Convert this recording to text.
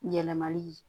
Yɛlɛmali ye